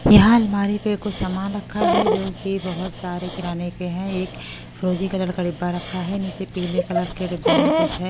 यहां अलमारी पे कुछ सामान रखा है जो कि बहुत सारे किराने के हैं एक फ्रोजी कलर का डब्बा रखा है नीचे पीले कलर के डब्बे में कुछ है--